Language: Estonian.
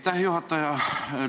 Aitäh, juhataja!